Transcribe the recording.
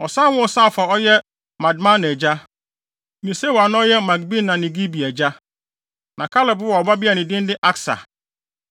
Ɔsan woo Saaf a na ɔyɛ Madmana agya ne Sewa a na ɔyɛ Makbena ne Gibea agya. Na Kaleb woo ɔbabea a ne din de Aksa.